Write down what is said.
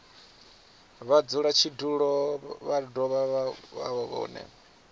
mudzulatshidulo vha do vha vhone